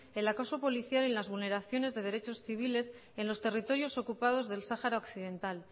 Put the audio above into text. el acoso policial y las vulneraciones de derechos civiles en los territorios ocupados del sahara occidental